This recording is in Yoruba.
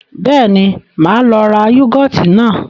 Bẹ́ẹ̀ni, máa lọ ra yúgọ́ọ́tì náà.